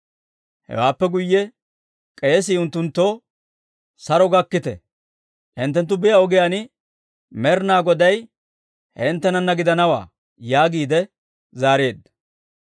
Hewaappe guyye k'eesii unttunttoo, «Saro gakkite; hinttenttu biyaa ogiyaan Med'inaa Goday hinttenanna gidanawaa» yaagiide zaareedda.